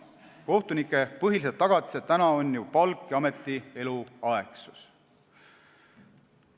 Kohtunike põhilised tagatised praegu on palk ja ameti eluaegsus.